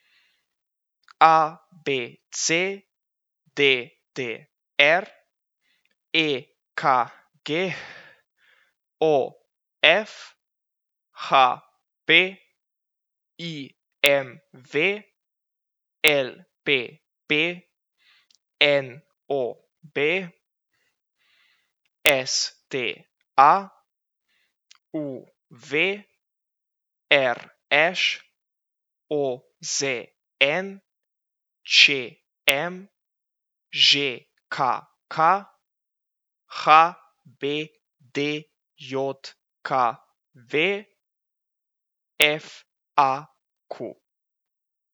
A B C; D D R; E K G; O F; H P; I M V; L P P; N O B; S T A; U V; R Š; O Z N; Č M; Ž K K; H B D J K V; F A Q.